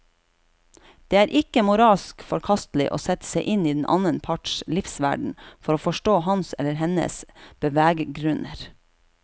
Det er ikke moralsk forkastelig å sette seg inn i den annen parts livsverden for å forstå hans eller hennes beveggrunner.